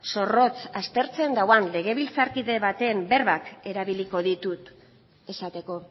zorrotz aztertzen duena legebiltzarkide baten berbak erabiliko ditut esateko